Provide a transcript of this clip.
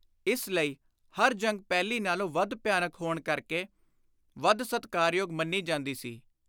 ਇਸ ਲਈ ਹਰ ਜੰਗ ਪਹਿਲੀ ਨਾਲੋਂ ਵੱਧ ਭਿਆਨਕ ਹੋਣ ਕਰਕੇ ਵੱਧ ਸਤਿਕਾਰਯੋਗ ਮੰਨੀ ਜਾਂਦੀ ਸੀ।